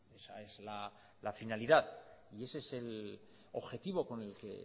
esa es la finalidad y ese es el objetivo con el que